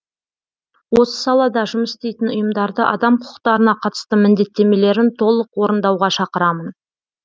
осы салада жұмыс істейтін ұйымдарды адам құқықтарына қатысты міндеттемелерін толық орындауға шақырамын